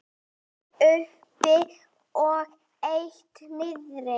Eitt uppi og eitt niðri.